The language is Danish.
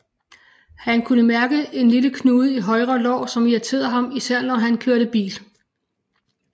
Han kunne mærke en lille knude i højre lår som irriterede ham især når han kørte bil